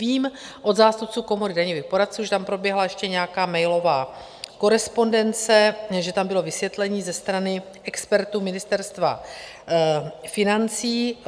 Vím od zástupců Komory daňových poradců, že tam proběhla ještě nějaká mailová korespondence, že tam bylo vysvětlení ze strany expertů Ministerstva financí.